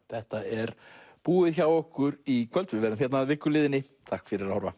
þetta er búið hjá okkur í kvöld við verðum hér að viku liðinni takk fyrir að horfa